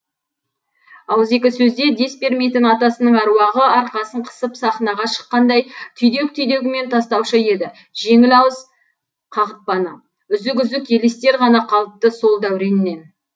ауызекі сөзде дес бермейтін атасының аруағы арқасын қысып сахнаға шыққанда түйдек түйдегімен тастаушы еді жеңілауыз қағытпаны үзік үзік елестер ғана қалыпты сол дәуреннен